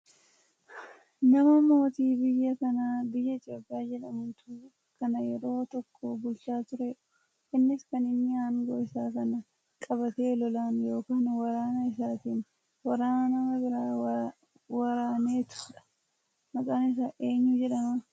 Nama mootii biyya kanaa biyya Itoopiyaa jedhamtu kanaa yeroo tokko buchaa turedha. Innis kan inni aangoo isaa sana qabate lolaan yookaan waraana isaatiin waraana nama biraa waraaneetudha. Maqaan isaa eenyu jedhama?